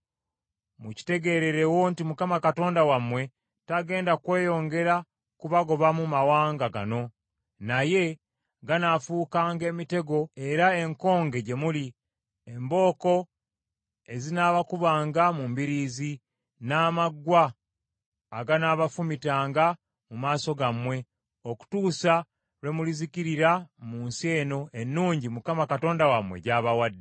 mukitegeererewo nti Mukama Katonda wammwe tagenda kweyongera kubagobamu mawanga gano, naye ganaafuukanga emitego era enkonge gye muli, embooko ezinaabakubanga mu mbiriizi, n’amaggwa aganaabafumitanga mu maaso gammwe okutuusa lwe mulizikirira mu nsi eno ennungi Mukama Katonda wammwe gy’abawadde.